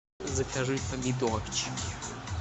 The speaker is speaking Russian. закажи помидорчики